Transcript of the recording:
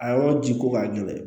A yɔrɔ ji ko ka gɛlɛn